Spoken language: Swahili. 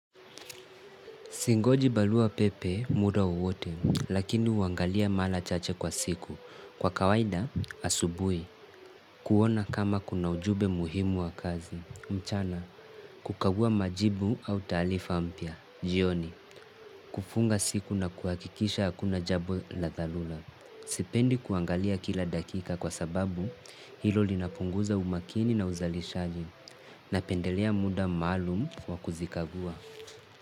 Singoji barua pepe muda wowote, lakini huangalia mara chache kwa siku. Kwa kawaida, asubuhi, kuona kama kuna ujumbe muhimu wa kazi. Mchana, kukagua majibu au taarifa mpya. Jioni, kufunga siku na kuhakikisha hakuna jambo la dharula. Sipendi kuangalia kila dakika kwasababu, hilo linapunguza umakini na uzalishaji. Napendelea muda maalum wa kuzikagua.